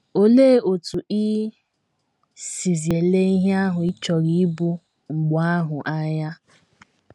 Olee otú i sizi ele ihe ahụ ị chọrọ ịbụ mgbe ahụ anya?